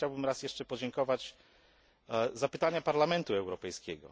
Teraz chciałbym jeszcze raz podziękować za pytania Parlamentu Europejskiego.